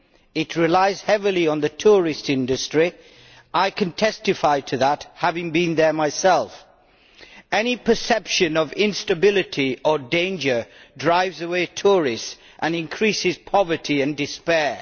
It relies heavily on the tourist industry, and I can testify to that having been there myself. Any perception of instability or danger drives away tourists and increases poverty and despair.